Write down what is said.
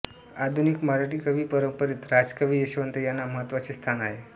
आधुनिक मराठी कवी परंपरेत राजकवी यशवंत यांना महत्त्वाचे स्थान आहे